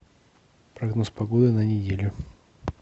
прогноз погоды на неделю